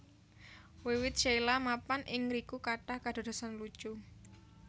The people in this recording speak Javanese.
Wiwit Sheila mapan ing ngriku kathah kadadosan lucu